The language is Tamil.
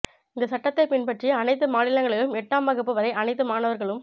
இந்த சட்டத்தை பின்பற்றி அனைத்து மாநிலங்களிலும் எட்டாம் வகுப்பு வரை அனைத்து மாணவர்களும்